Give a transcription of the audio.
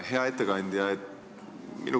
Hea ettekandja!